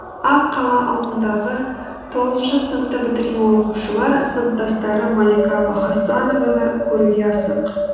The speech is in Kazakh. ақ қала ауылындағы тоғызыншы сыныпты бітірген оқушылар сыныптастары малика вахасанованы көруге асық